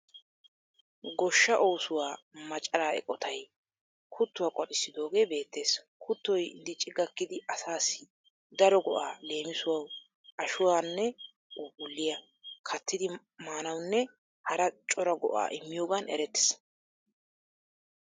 Goshshaa oosuwa macaraa eqotayi kuttuwa qoxissidoogee beettees. Kuttoy dicci gakkidi asaassi daro go'aa leemisuwawu ashuwanne puupulliya kattidi maanawunne hara cora go'aa immiyoogan erettees.